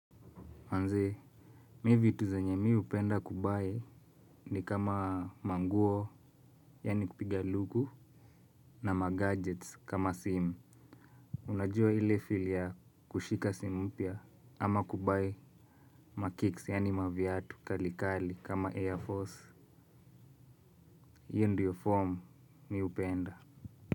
Manze, mi vitu zenye mi hupenda kubuy ni kama manguo, yani kupiga luku, na magadgets kama simu. Unajua ile feel ya kushika simu mpya, ama kubuy makicks, yaani maviatu, kali kali, kama Air Force. Hiyo ndio form mi hupenda.